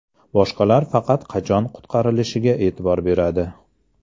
Boshqalar faqat qachon qutqarilishiga e’tibor beradi.